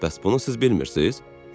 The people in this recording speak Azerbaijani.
"Bəs bunu siz bilmirsiz?"